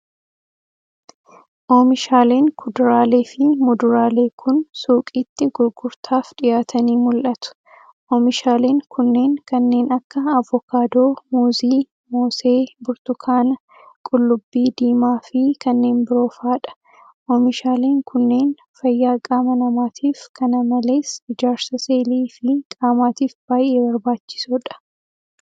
Oomishaaleen kuduraalee fi muduraalee kun, suuqitti gurgurtaaf dhiyaatanii mul'atu. Oomishaaleen kunneen kanneen akka; avokaadoo, muuzii, moosee, burtukaana, qullubbii diimaa, fi kanneen biroo faa dha. Oomishaaleen kunneen, fayyaa qaama namaatif kana malees ijaarsa seelii fi qaamaatif baay'ee barbaachisoo dha.